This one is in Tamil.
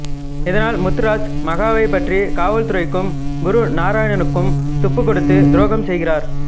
இதனால் முத்துராஜ் மகாவைப் பற்றி காவல்துறைக்கும் குரு நாராயணனுக்கும் துப்பு கொடுத்து துரோகம் செய்கிறார்